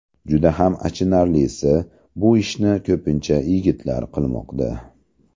Juda ham achinarlisi, bu ishni ko‘pincha yigitlar qilmoqda.